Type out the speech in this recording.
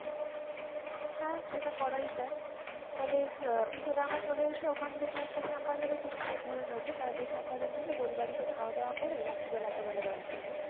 হ্যাঁ সেটা করাই যায় , তালে আহ উল্টাদাঙা চলে এসে ওখান থেকে একটা শ্যামবাজার এর কিছু ধরে নেব, তাহলে শ্যামবাজার নেমে গোলবাড়িতে খাওয়া দাওয়া করে রাত্রিবেলা একেবারে বাড়ি ফিরবো।